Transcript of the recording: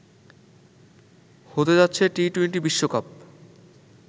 হতে যাচ্ছে টি-টোয়েন্টি বিশ্বকাপ